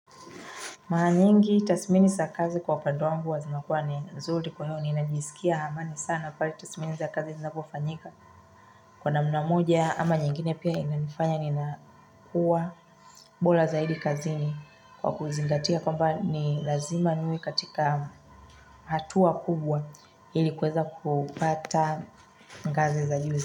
Mara nyingi tathmini za kazi kwa upande wangu huwa zinakua ni nzuri kwa hiyo niinajisikia amani sana pale tathmini za kazi zinapofanyika. Kwa namna moja ama nyingine pia inanifanya ninakuwa bora zaidi kazini kwa kuzingatia kwamba ni lazima niwe katika hatua kubwa ili kuweza kupata ngazi za juzi.